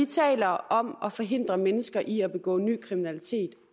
taler om at forhindre mennesker i at begå ny kriminalitet